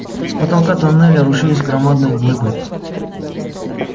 с потолка тоннеля рушились громадные глыбы